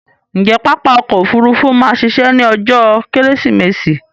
Ǹjé pápá ọkò òfurufú ma a ṣiṣẹ́ ní ọjó kẹ́rẹ́sìmẹsì?